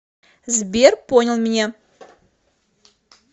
сбер понял меня